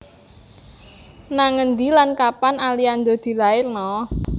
Nang endi lan kapan Aliando dilairno?